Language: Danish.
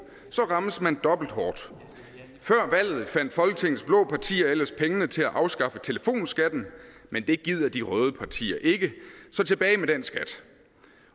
rammes man dobbelt hårdt før valget fandt folketingets blå partier ellers pengene til at afskaffe telefonskatten men det gider de røde partier ikke så tilbage med den skat